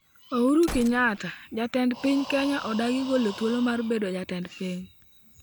Uhuru Kenyatta: Jatend piny Kenya odagi golo thuolo mar bedo Jatend Piny